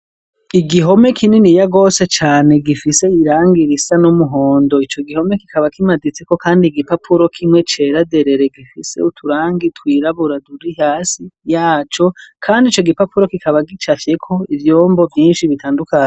Igihome kininiya gose cane gifise irangi risa n'umuhondo, ico gihome kikaba kimaditseko kandi igipapuro kimwe cera derere, gifise uturangi twirabura turi hasi yaco kandi ico gipapuro kikaba gicafyeko ivyombo vyinshi bitandukanye.